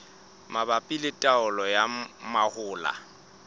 mabapi le taolo ya mahola